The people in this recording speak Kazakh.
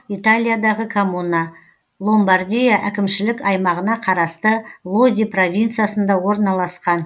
италиядағы коммуна ломбардия әкімшілік аймағына қарасты лоди провинциясында орналасқан